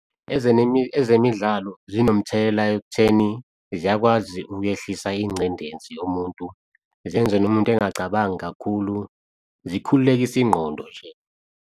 Ezemidlalo zinomthelela ekutheni ziyakwazi ukwehlisa ingcindezi yomuntu, zenze nomuntu engacabangi kakhulu zikhululekise ingqondo nje.